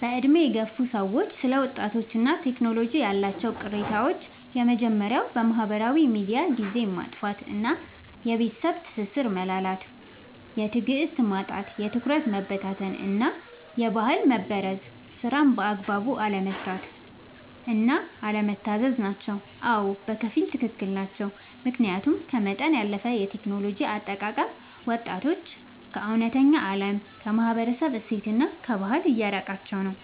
በዕድሜ የገፉ ሰዎች ስለ ወጣቶችና ቴክኖሎጂ ያላቸው ቅሬታዎች የመጀመርያው በማህበራዊ ሚዲያ ጊዜን ማጥፋት እና የቤተሰብ ትስስር መላላት። የትዕግስት ማጣት፣ የትኩረት መበታተን እና የባህል መበረዝ። ስራን በአግባቡ አለመስራት እና አለመታዘዝ ናቸው። አዎ፣ በከፊል ትክክል ናቸው። ምክንያቱም ከመጠን ያለፈ የቴክኖሎጂ አጠቃቀም ወጣቶችን ከእውነተኛው ዓለም፣ ከማህበረሰብ እሴትና ከባህል እያራቃቸው ነው።